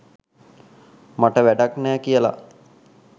මට වැඩක් නෑ කියලා.